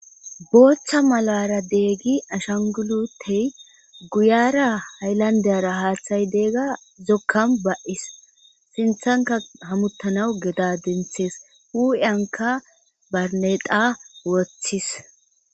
boochcha malara deegi ashangulutey guyara hayllandeyara haaththay deegga zokkan ba7is sinthanka hamuttanaw geda denthees u7anka barneda wothis